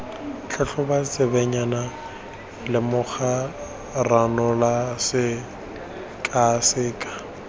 tlhatlhoba tsebentlha lemoga ranola sekaseka